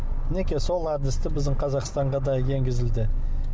мінекей сол әдісті біздің қазақстанға да еңгізілді